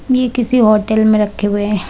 ये किसी होटल मे रखे हुए हैं।